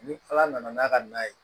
Ni ala nana n'a ka na ye